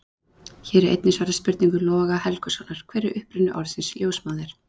Hér er einnig svarað spurningu Loga Helgusonar: Hver er uppruni orðsins ljósmóðir?